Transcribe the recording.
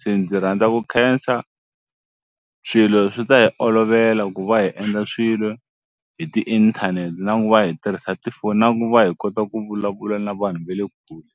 se ndzi rhandza ku khensa swilo swi ta hi olovela ku va hi endla swilo hi tiinthanete na ku va hi tirhisa tifoni na ku va hi kota ku vulavula na vanhu ve le kule.